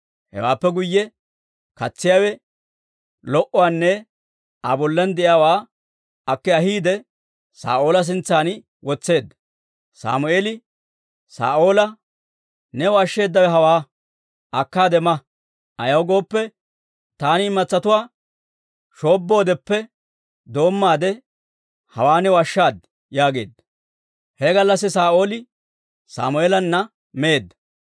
Hewaappe guyye katsiyaawe lo"uwaanne Aa bollan de'iyaawaa akki ahiide, Saa'oola sintsan wotseedda. Sammeeli Saa'oola, «New ashsheedawe hawaa; akkaade ma. Ayaw gooppe, taani imatsatuwaa shoobboodeppe doommaade, hawaa new ashshaad» yaageedda. He gallassi Saa'ooli Sammeelana meedda.